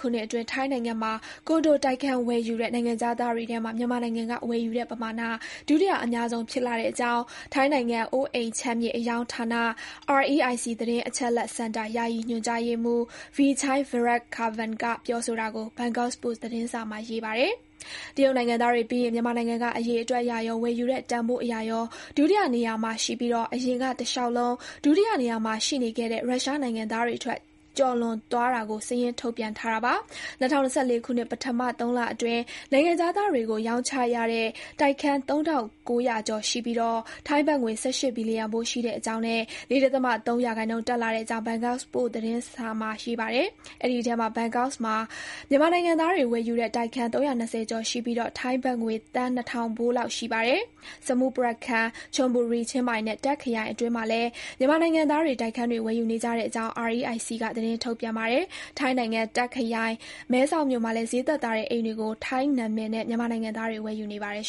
ခုနှစ်အတွင်း ထိုင်းနိုင်ငံမှာ ကွန်ဒိုတိုက်ခန်း ဝယ်ယူတဲ့ နိုင်ငံခြားသားတွေထဲမှာ မြန်မာနိုင်ငံက ဝယ်ယူတဲ့ ပမာဏ ဒုတိယ အများဆုံး ဖြစ်လာတဲ့အကြောင်း ထိုင်းနိုင်ငံ အိုးအိမ်ခြံမြေ အရောင်းဌာန REIC သတင်းအချက်အလက် စင်တာ ယာယီညွှန်ကြားရေးမှုး Vichai Viratkapan က ပြောဆိုတာကို ဘန်ကောက်ပို့စ်သတင်းစာမှာ ရေးပါတယ်။ တရုတ်နိုင်ငံသားတွေပြီးရင် မြန်မာနိုင်ငံက အရေအတွက်အရရော၊ ဝယ်ယူတဲ့ တန်ဖိုးအရရော ဒုတိယနေရမှာ ရှိပြီး အရင်က တလျှောက်လုံး ဒုတိယနေမှာ ရှိနေခဲ့တဲ့ ရုရှားနိုင်ငံသားတွေထက် ကျော်သွားတာကို စာရင်းထုတ်ပြန်ထားတာပါ။ ၂၀၂၄ ခုနှစ် ပထမ သုံးလအတွင်း နိုင်ငံခြားသားတွေကို ရောင်းချရတဲ့ တိုက်ခန်း သုံးထောင့်ကိုးရာကျော် ရှိပြီး ထိုင်းဘတ်ငွေ ၁၈ ဘီလျံဖိုး ရှိတဲ့အကြောင်းနဲ့ ၄ ဒသမ ၃ ရာခိုင်နှုန်းတက်လာတဲ့အကြောင်း ဘန်ကောက်ပို့စ် သတင်းစာမှာ ရေးပါတယ်။ အဲဒီအထဲမှာ ဘန်ကောက်မှာ မြန်မာနိုင်ငံသားတွေ ဝယ်ယူတဲ့ တိုက်ခန်း ၃၂၀ ကျော်ရှိပြီး ထိုင်းဘတ်ငွေ သန်း နှစ်ထောင်ဖိုးလောက် ရှိပါတယ်။ Samut Prakan ၊ Chon Buri၊ ချင်းမိုင်နဲ့ Tak ခရိုင်အတွင်းမှာလည်း မြန်မာနိုင်ငံသားတွေ တိုက်ခန်းတွေ ဝယ်ယူနေကြတဲ့အကြောင်း REIC က စာရင်းထုတ်ပြန်ပါတယ်။ ထိုင်းနိုင်ငံ Tak ခရိုင် မဲဆောက်မြို့မှာလည်း ဈေးသက်သာတဲ့ အိမ်တွေကို ထိုင်းနာမည်တွေနဲ့ မြန်မာနိုင်ငံသားတွေ ဝယ်ယူနေပါတယ်